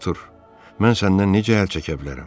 Artur, mən səndən necə əl çəkə bilərəm?